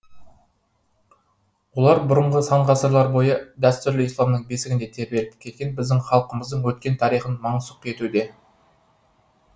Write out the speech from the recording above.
олар бұрынғы сан ғасырлар бойы дәстүрлі исламның бесігінде тербеліп келген біздің халқымыздың өткен тарихын мансұқ етуде